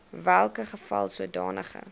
welke geval sodanige